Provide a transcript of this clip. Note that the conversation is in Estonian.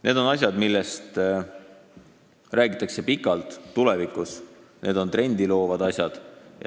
Need on asjad, millest räägitakse veel pikalt tulevikus, need on trendi loovad asjad.